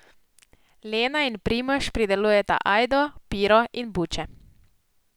Lena in Primož pridelujeta ajdo, piro in buče.